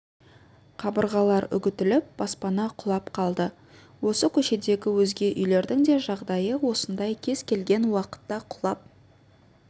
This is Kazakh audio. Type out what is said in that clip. қабырғалар үгітіліп баспана құлап қалды осы көшедегі өзге үйлердің де жағдайы осындай кез-келген уақытта құлап